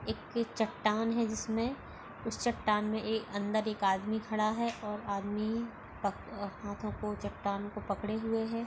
एक चट्टान है जिसमें उस चट्टान में अंदर एक आदमी खड़ा है और आदमी पक हाथो को चट्टान को पकड़े हुए है।